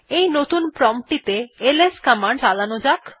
এই নতুন প্রম্পট টিতে এলএস কমান্ড চালান যাক